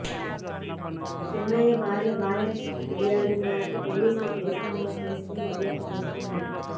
చిన్నయ్య భార్య బాయక్క ఫిర్యాదు మేరకు పోలీసులు కేసు నమోదు చేసుకుని దర్యాప్తు చేస్తున్నారు